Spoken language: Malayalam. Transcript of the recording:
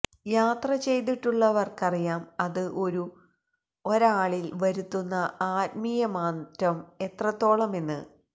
യാത്ര ചെയ്തിട്ടുള്ളവര്ക്കറിയാം അത് ഒരു ഒരാളില് വരുത്തുന്ന ആത്മീയമാറ്റം എത്രത്തോളമെന്ന്